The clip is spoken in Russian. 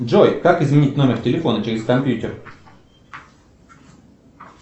джой как изменить номер телефона через компьютер